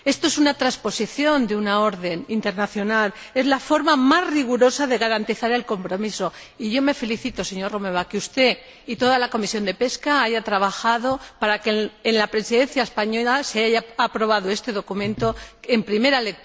Esto es una transposición de una decisión internacional, es la forma más rigurosa de garantizar el compromiso, y yo me felicito, señor Romeva, de que usted y toda la Comisión de Pesca hayan trabajado para que en la Presidencia española se haya aprobado este documento en primera lectura para proteger el atún rojo.